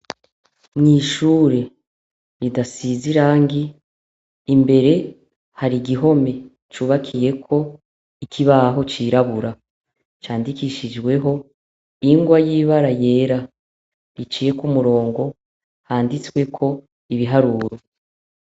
Nishuri ridasize irangi imbere hari igihome cubakiyeko ikibaho c' irabura candikishijweho ingwa y' ibara yera riciyeko umurongo handitsweko ibiharuro.